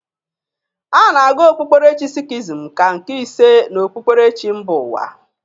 A na-agụ okpuberechi sikhizm ka nke ise n'okpuberechi mba ụwa.